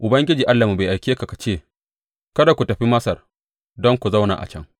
Ubangiji Allahnmu bai aike ka ka ce, Kada ku tafi Masar don ku zauna a can.’